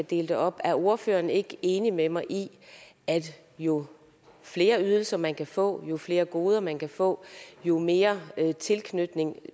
dele det op er ordføreren ikke enig med mig i at jo flere ydelser man kan få jo flere goder man kan få jo mere tilknytning